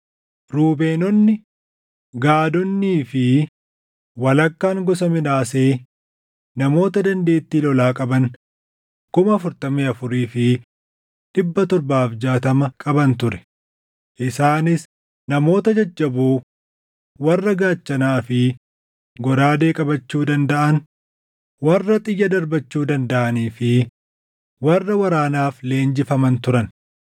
Ruubeenonni, Gaadonnii fi walakkaan gosa Minaasee namoota dandeettii lolaa qaban 44,760 qaban ture; isaanis namoota jajjaboo warra gaachanaa fi goraadee qabachuu dandaʼan, warra xiyya darbachuu dandaʼanii fi warra waraanaaf leenjifaman turan.